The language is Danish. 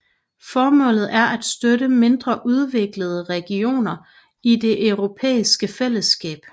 Formålet er at støtte mindre udviklede regioner i det europæiske fællesskab